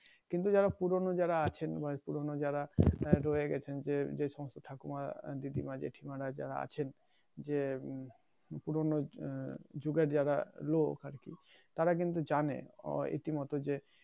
কিন্তু যারা পুরোনো যারা আছেন বা পুরোনো যারা রয়ে গেছেন যেসমস্ত ঠাকুরমা দিদি মা জেঠিমা যারা আছেন যে উম পুরোনো আহ যুগের যারা লোক আরকি তারা কিন্তু জানে ইতি মতে যে